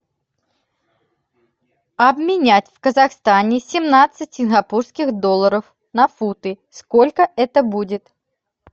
обменять в казахстане семнадцать сингапурских долларов на фунты сколько это будет